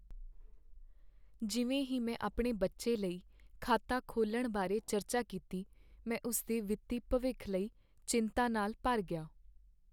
ਜਿਵੇਂ ਹੀ ਮੈਂ ਆਪਣੇ ਬੱਚੇ ਲਈ ਖਾਤਾ ਖੋਲ੍ਹਣ ਬਾਰੇ ਚਰਚਾ ਕੀਤੀ, ਮੈਂ ਉਸ ਦੇ ਵਿੱਤੀ ਭਵਿੱਖ ਲਈ ਚਿੰਤਾ ਨਾਲ ਭਰ ਗਿਆ।